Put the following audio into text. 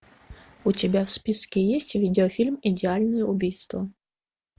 у тебя в списке есть видеофильм идеальное убийство